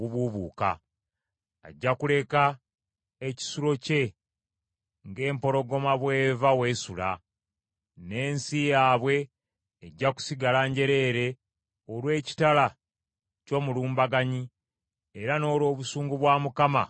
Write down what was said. Ajja kuleka ekisulo kye ng’empologoma bw’eva w’esula, n’ensi yaabwe ejja kusigala njereere olw’ekitala ky’omulumbaganyi era n’olw’obusungu bwa Mukama obw’entiisa.